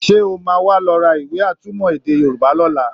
Sé o máa wá lọ ra ìwé atúmọ̀ èdè Yorùbá lọ́la?